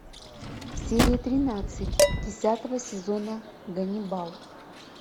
серия тринадцать десятого сезона ганнибал